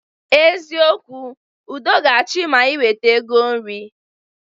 Eziokwu, udo ga-achị ma ị weta ego nri